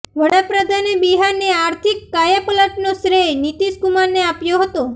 વડાપ્રધાને બિહારની આર્થિક કાયાપલટનો શ્રેય નીતીશ કુમારને આપ્યો હતો